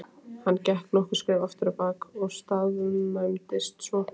Hann gekk nokkur skref afturábak og staðnæmdist svo.